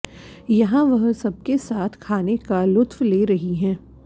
यहां वे सबके साथ खाने का लुफ्त ले रही हैं